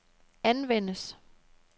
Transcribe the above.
anvendes